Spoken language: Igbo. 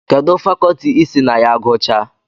Kedụ fakọtị isi na ya guchaa?